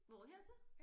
Hvor hertil?